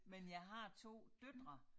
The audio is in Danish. Men jeg har 2 døtre